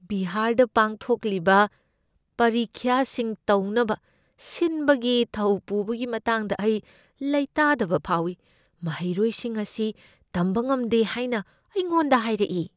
ꯕꯤꯍꯥꯔꯗ ꯄꯥꯡꯊꯣꯛꯂꯤꯕ ꯄꯔꯤꯈ꯭ꯌꯥꯁꯤꯡ ꯇꯧꯅꯕ ꯁꯤꯟꯕꯒꯤ ꯊꯧ ꯄꯨꯕꯒꯤ ꯃꯇꯥꯡꯗ ꯑꯩ ꯂꯩꯇꯗꯕ ꯐꯥꯎꯏ ꯫ ꯃꯍꯩꯔꯣꯏꯁꯤꯡ ꯑꯁꯤ ꯇꯝꯕ ꯉꯝꯗꯦ ꯍꯥꯏꯅ ꯑꯩꯉꯣꯟꯗ ꯍꯥꯏꯔꯛꯏ꯫